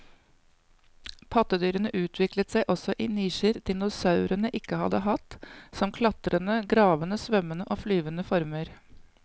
Pattedyrene utviklet seg også i nisjer dinosaurene ikke hadde hatt, som klatrende, gravende, svømmende og flyvende former.